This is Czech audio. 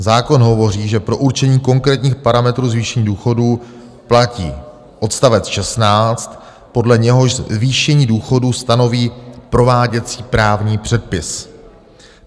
Zákon říká, že pro určení konkrétních parametrů zvýšení důchodů platí odstavec 16, podle něhož zvýšení důchodů stanoví prováděcí právní předpis.